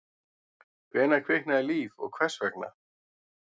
Hvenær kviknaði líf og hvers vegna?